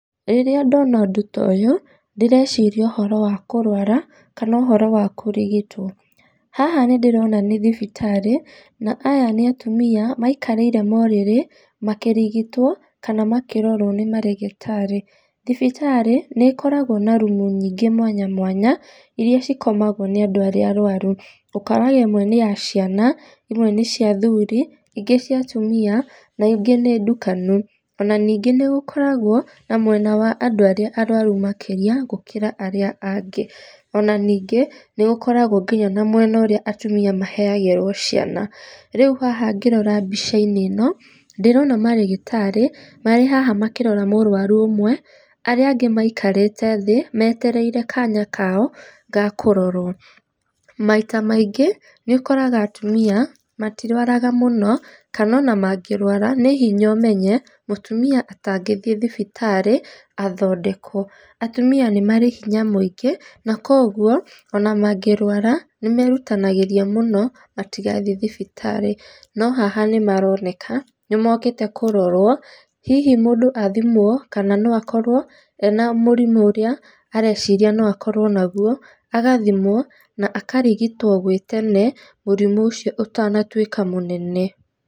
Rĩrĩa ndona ũndũ toyũ, ndĩreciria ũhoro wa kũrwara, kana ũhoro wa kũrigitwo. Haha nĩ ndĩrona nĩ thibitarĩ na aya nĩ atumia maikarĩire morĩrĩ makĩrigitwo kana makĩrorwo nĩ marĩgĩtarĩ. Thibitarĩ nĩ ikoragwo na rumu nyingĩ mwanya mwanya, iria cikomagwo nĩ andũ arĩa arwaru ũkoraga ĩmwe nĩya ciana, imwe nĩ cia athuuri, ingĩ cia atumia na ingĩ nĩ ndukanu, ona ningĩ nĩ gũkoragwo na mwena wa andũ arĩa arwaru makĩria gũkĩra arĩa angĩ. Ona ningĩ nĩ gũkoragwo nginya na mwena ũrĩa atumia maheagĩrwo ciana. Rĩu haha ngĩrora mbica-inĩ ĩno, ndĩrona marĩgĩtarĩ, marĩ haha makĩrora mũrũaru ũmwe arĩa angĩ maikarĩte thĩ metereire kaanya kaoo ga gũkororwo. Maita maingĩ nĩ ũkoraga atumia matirwaraga mũno kana ona mangĩrwara nĩ hinya ũmenye mũtumia atangĩthiĩ thibitarĩ athondekwo. Atumia nĩ marĩ hinya mũingĩ na koguo ona mangĩrwara nĩmerutanagĩria mũno matigathiĩ thibitarĩ. No haha nĩ maroneka nĩ mokĩte kũrorwo hihi mũndũ athimwo kana no akorwo ena mũrimũ ũrĩa areciria no akorwo naguo, agathimwo na akarigitwo gwĩ tene mũrimũ ũcio ũtanatuĩka mũnene.